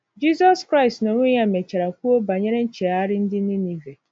Jizọs Kraịst n’onwe ya mechara kwuo banyere nchegharị ndị Ninive.